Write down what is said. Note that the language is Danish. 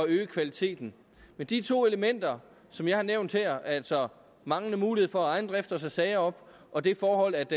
øge kvaliteten men de to elementer som jeg har nævnt her altså manglende mulighed for af egen drift at tage sager op og det forhold at